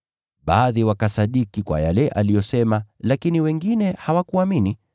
Baadhi wakasadiki yale aliyosema, lakini wengine hawakuamini.